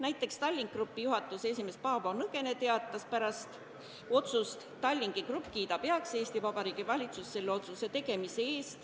Näiteks Tallink Grupi juhatuse esimees Paavo Nõgene teatas, et Tallink Grupp kiidab Eesti Vabariigi valitsuse otsuse heaks.